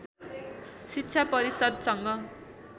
शिक्षा परिषद्सँग